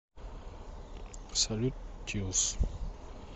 салют тиллс